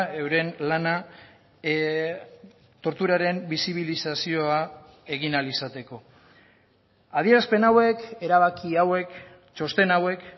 euren lana torturaren bisibilizazioa egin ahal izateko adierazpen hauek erabaki hauek txosten hauek